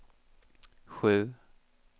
sju